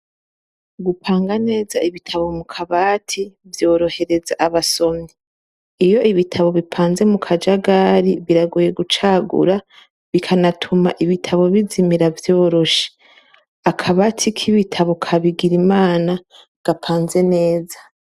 Gupanga neza ibitabo mu kabati, vyorohereza abasomyi. Iyo ibitabo bipanze mu kajagari , biragoye gucagura, bikabatuma ibitabo bizimira vyoroshe . Akabati k' ibitabo ka Bigirimana, gapanze neza.